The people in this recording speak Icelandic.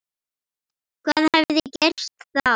Hvað hefði gerst þá?